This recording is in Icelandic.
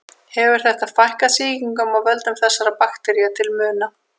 Hefur þetta fækkað sýkingum af völdum þessara baktería til muna.